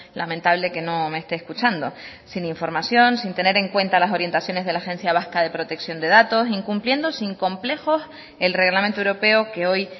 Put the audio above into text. lamentable que no me esté escuchando sin información sin tener en cuenta las orientaciones de la agencia vasca de protección de datos incumpliendo sin complejos el reglamento europeo que hoy